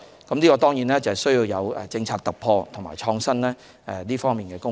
這當然需要有政策突破、創新的工作。